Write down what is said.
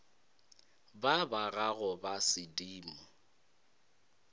ba ba gago ba sedimo